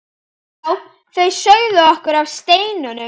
Já, þau sögðu okkur af steininum.